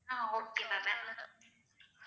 ah okay ma'am